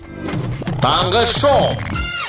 таңғы шоу